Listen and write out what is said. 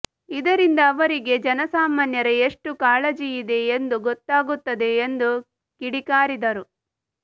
ಇದರಿಂದ ಅವರಿಗೆ ಜನಸಾಮಾನ್ಯರ ಎಷ್ಟು ಕಾಳಜಿ ಇದೆ ಎಂದು ಗೊತ್ತಾಗುತ್ತದೆ ಎಂದು ಕಿಡಿಕಾರಿದರು